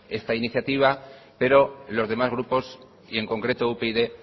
esta iniciativa pero los demás grupos y en concreto upyd